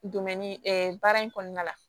baara in kɔnɔna la